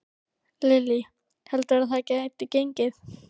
Lillý: Heldurðu að það geti gengið?